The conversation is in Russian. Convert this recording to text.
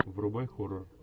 врубай хоррор